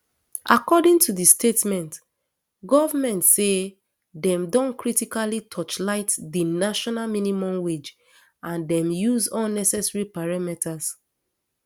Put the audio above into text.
according to di statement goment say dem don critically torchlight di national minimum wage and dem use all necessary parameters